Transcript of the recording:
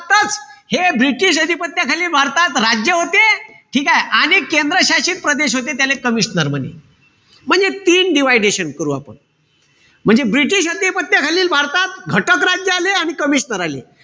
हे british अधिपत्याखालील भारतात राज्य होते. ठीकेय? आणिक केंद्र शासित प्रदेश होते त्याले commissioner म्हणे. म्हणजे तीन dividation करू आपण. म्हणजे british अधिपत्याखालील भारतात घटक राज्य आले आणि commissioner आले.